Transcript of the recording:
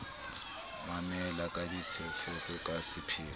mamela ka tshetshefo ka sepheo